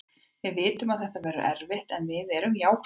Við vitum að þetta verður erfitt en við erum jákvæðir.